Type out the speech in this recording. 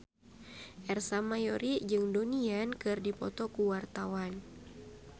Ersa Mayori jeung Donnie Yan keur dipoto ku wartawan